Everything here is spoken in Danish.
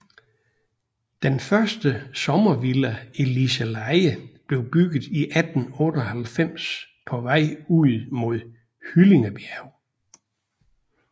Den første sommervilla i Liseleje blev bygget i 1898 på vejen ud mod Hyllingebjerg